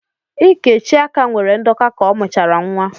Íkè Chiaka nwere ndọka ka ọ mụchara nwa.